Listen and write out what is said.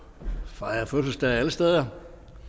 fejre fødselsdag alle steder